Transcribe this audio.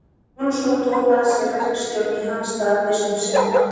Jónsson tók að sér verkstjórn í hans stað fyrst um sinn.